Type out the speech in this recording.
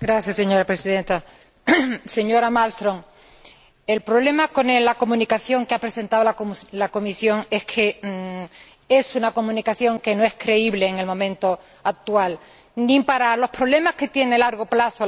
Señora Presidenta, señora Malmström, el problema con la comunicación que ha presentado la Comisión es que es una comunicación que no es creíble en el momento actual, ni para los problemas que conlleva a largo plazo